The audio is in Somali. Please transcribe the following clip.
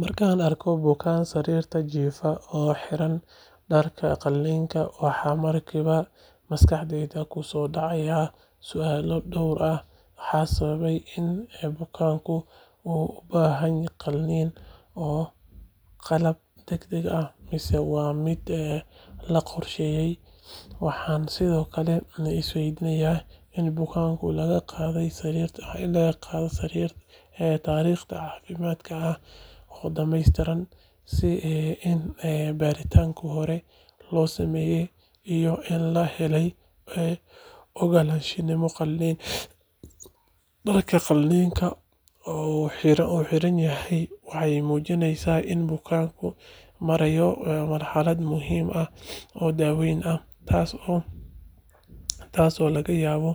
Markaan arko bukaan sariirta jiifa oo xiran dharka qalliinka, waxa markiiba maskaxdayda ku soo dhacaya su'aalo dhowr ah. Maxaa sababay in bukaankani uu u baahdo qalliin? Waa xaalad degdeg ah mise waa mid la qorsheeyay? Waxaan sidoo kale is weydiinayaa in bukaanka laga qaaday taariikh caafimaad oo dhamaystiran, in baaritaanno hore loo sameeyay, iyo in la helay ogolaanshihii qalliinka. Dharka qalliinka oo uu xiran yahay waxay muujinaysaa in bukaanku marayo marxalad muhiim ah oo daaweyn ah, taasoo laga yaabo